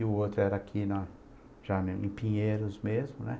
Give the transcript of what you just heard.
E o outro era aqui na, já em Pinheiros mesmo, né?